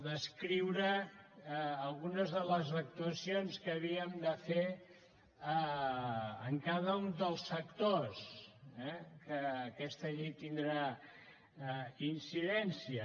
descriure algunes de les actuacions que havíem de fer en cada un dels sectors eh que aquesta llei hi tindrà incidència